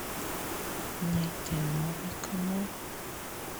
найти новый канал